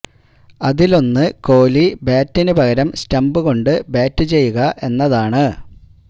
അതിലൊന്ന് കോലി ബാറ്റിന് പകരം സ്റ്റംപ് കൊണ്ട് ബാറ്റു ചെയ്യുക എന്നതാണ്